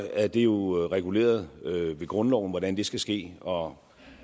er det jo reguleret ved grundloven hvordan det skal ske og